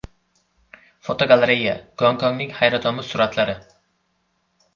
Fotogalereya: Gonkongning hayratomuz suratlari.